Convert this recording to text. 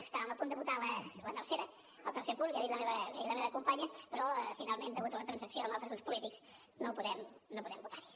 estàvem a punt de votar el tercer punt ja ho ha dit la meva companya però finalment degut a la transacció amb altres grups polítics no podem votar hi